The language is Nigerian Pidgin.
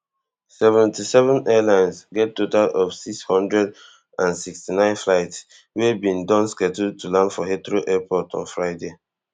seventy-seven airlines get total of six hundred and sixty-nine flights wey dem bin don schedule to land for heathrow airport on friday